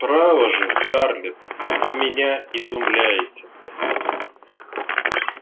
право же скарлетт вы меня изумляете